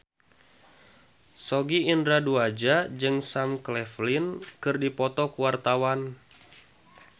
Sogi Indra Duaja jeung Sam Claflin keur dipoto ku wartawan